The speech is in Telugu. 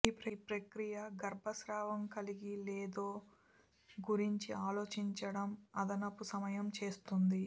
ఈ ప్రక్రియ గర్భస్రావం కలిగి లేదో గురించి ఆలోచించడం అదనపు సమయం చేస్తుంది